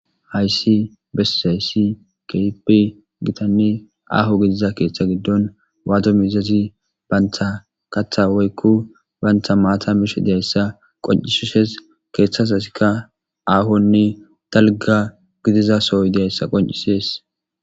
hayssi besseyssi keipi gitanni aaho gidiza keeththa giddon waadomiizazi bayntha katha woykku bantha maata mish deessa qoncisuses keeththas hasikka aahonni talga gidizasoy deessa qoncisees